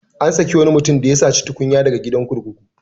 An saki wani mutum ya da saci tunkiya daga gidan kurkuku.